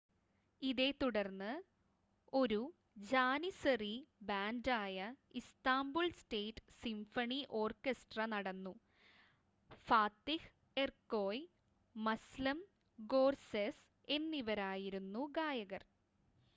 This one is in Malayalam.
ഇതേത്തുടർന്ന് ഒരു ജാനിസറി ബാൻഡായ ഇസ്താംബുൾ സ്റ്റേറ്റ് സിംഫണി ഓർക്കസ്ട്ര നടന്നു ഫാത്തിഹ് എർക്കോയ് മസ്ലം ഗോർസെസ് എന്നിവരായിരുന്നു ഗായകർ